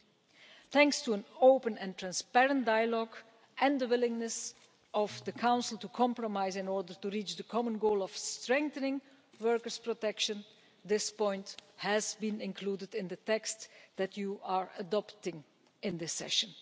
3. Thanks to an open and transparent dialogue and the willingness of the Council to compromise in order to reach the common goal of strengthening workers' protection, this point has been included in the text that you are adopting in this session.